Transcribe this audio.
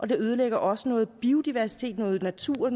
det ødelægger også noget biodiversitet noget natur